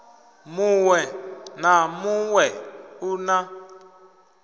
muṋwe na muṋwe u na